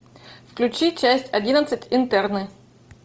включи часть одиннадцать интерны